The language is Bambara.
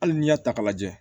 Hali n'i y'a ta k'a lajɛ